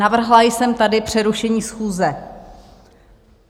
Navrhla jsem tady přerušení schůze.